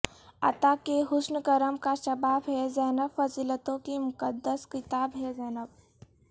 عطا کا حسن کرم کا شباب ہے زینب فضیلتوں کی مقد س کتاب ہے زینب